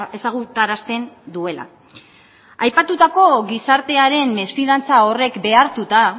ezagutarazten duela aipatutako gizartearen mesfidantza horrek behartuta